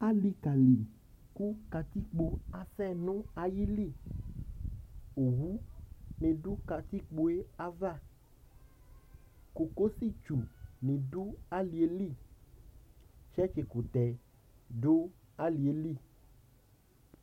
Alɩka li, kʋ katikpo asɛ nʋ ayili, owunɩ dʋ katikpo yɛ ava, kokositsunɩ dʋ alɩ yɛ li, tsɛtsɩkʋtɛ dʋ alɩ yɛ li